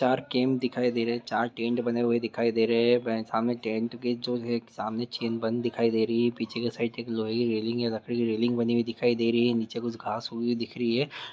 तार कैम्प दिखाई दे रहे हैं चार टेंट बने हुए दिखाई दे रहे हैं सामने टेंट गेट सामने चेल बंद दिखाई दे रही है पीछे के साइड एक की रैलिंग एक लोहे की रैलिंग बनी हुई दिखाई दे रहीं हैं नीचे के साइड घाँस उगे हुए दिख रही है। ;